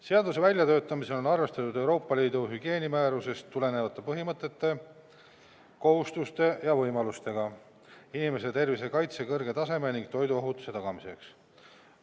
Seaduse väljatöötamisel on arvestatud Euroopa Liidu hügieenimäärusest tulenevate põhimõtete, kohustuste ja võimalustega inimeste tervise kaitse kõrge taseme ning toiduohutuse tagamiseks.